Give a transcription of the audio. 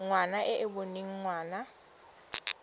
ngwana e e boneng ngwana